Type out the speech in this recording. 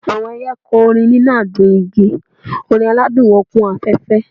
Awọn ẹiyẹ kọrin ninu awọn igi, orin aladun wọn kun afẹfẹ.